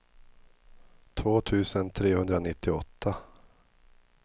två tusen trehundranittioåtta